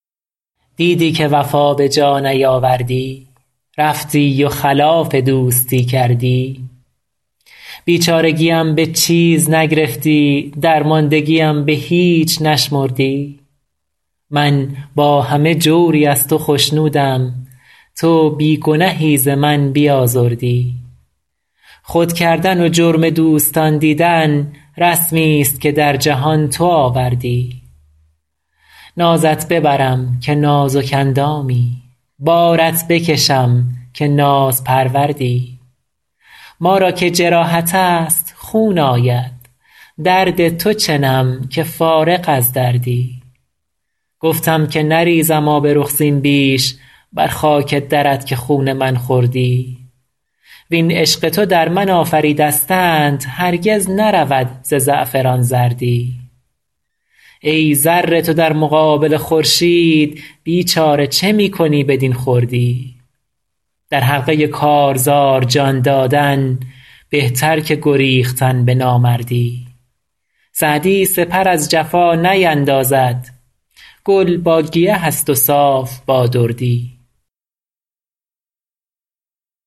دیدی که وفا به جا نیاوردی رفتی و خلاف دوستی کردی بیچارگیم به چیز نگرفتی درماندگیم به هیچ نشمردی من با همه جوری از تو خشنودم تو بی گنهی ز من بیازردی خود کردن و جرم دوستان دیدن رسمیست که در جهان تو آوردی نازت ببرم که نازک اندامی بارت بکشم که نازپروردی ما را که جراحت است خون آید درد تو چنم که فارغ از دردی گفتم که نریزم آب رخ زین بیش بر خاک درت که خون من خوردی وین عشق تو در من آفریدستند هرگز نرود ز زعفران زردی ای ذره تو در مقابل خورشید بیچاره چه می کنی بدین خردی در حلقه کارزار جان دادن بهتر که گریختن به نامردی سعدی سپر از جفا نیندازد گل با گیه است و صاف با دردی